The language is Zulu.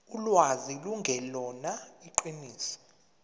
ulwazi lungelona iqiniso